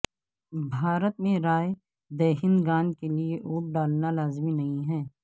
بھارت میں رائے دہندگان کے لیے ووٹ ڈالنا لازمی نہیں ہے